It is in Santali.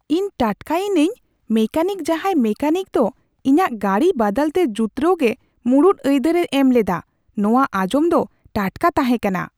ᱤᱧ ᱴᱟᱴᱠᱟᱭᱤᱱᱟᱹᱧ ᱢᱮᱠᱟᱱᱤᱠ ᱡᱟᱦᱟᱭ ᱢᱮᱠᱟᱱᱤᱠ ᱫᱚ ᱤᱧᱟᱹᱜ ᱜᱟᱹᱰᱤ ᱵᱟᱫᱟᱞᱛᱮ ᱡᱩᱛᱨᱟᱹᱣ ᱜᱮ ᱢᱩᱲᱩᱫ ᱟᱹᱭᱫᱟᱨᱮ ᱮᱢᱞᱮᱫᱟ ᱾ ᱱᱚᱶᱟ ᱟᱸᱡᱚᱢ ᱫᱚ ᱴᱟᱴᱠᱟ ᱛᱟᱦᱮᱸ ᱠᱟᱱᱟ ᱾